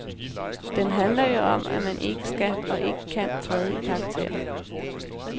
Den handler jo om, at man ikke skal og ikke kan træde i karakter.